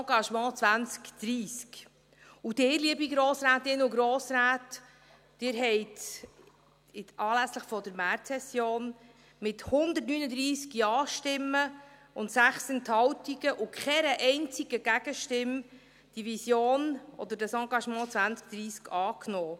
Sie, liebe Grossrätinnen und Grossräte, Sie haben anlässlich der Märzsession mit 139 Ja-Stimmen und 6 Enthaltungen bei keiner einzigen Gegenstimme diese Vision oder das Engagement 2030 angenommen.